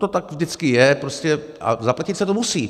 To tak vždycky je prostě a zaplatit se to musí.